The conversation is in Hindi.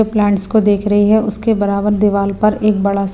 प्लांट्स को देख रही है उसके बराबर दीवार पर एक बड़ा--